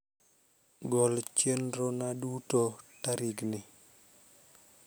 Gol chenrona duto tarikni